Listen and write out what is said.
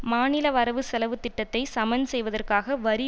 மாநில வரவு செலவு திட்டத்தை சமன்செய்வதற்காக வரி